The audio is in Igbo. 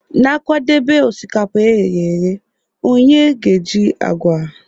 Na-akwadebe osikapa e ghere eghe, onye ga-eji agwa.